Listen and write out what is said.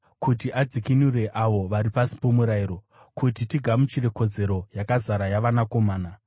kuti adzikinure avo vari pasi pomurayiro, kuti tigamuchire kodzero yakazara yavanakomana.